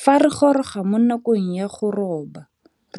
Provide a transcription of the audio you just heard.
Fa re goroga mo nakong ya go roba,